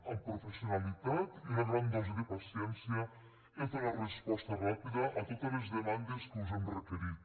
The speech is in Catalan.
amb professionalitat i una gran dosi de paciència heu donat resposta ràpida a totes les demandes que us hem requerit